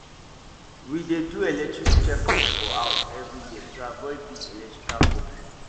we dey do electric check up for house every year to avoid big electrical problem